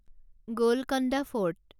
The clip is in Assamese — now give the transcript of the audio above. গোলকণ্ডা ফৰ্ট